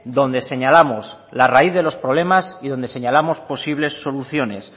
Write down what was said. donde señalamos la raíz de los problemas y donde señalamos posibles soluciones